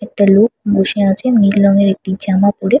একটা লোক বসে রয়েছে নীল রঙের একটি জামা পড়ে।